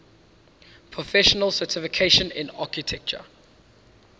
professional certification in architecture